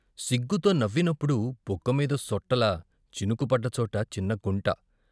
సిగ్గుతో నవ్వి నప్పుడు బుగ్గమీద సొట్టలా చినుకు పడ్డచోట చిన్నగుంట.